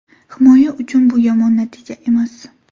Himoya uchun bu yomon natija emas.